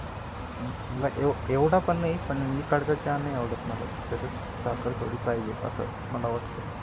एवढ पण नाही, पण इकडचा चहा नाही आवडत मला. त्यात साखर थोडी पाहिजे अस मला वाटत.